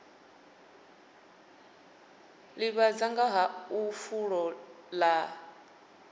ḓivhadza nga ha fulo ḽa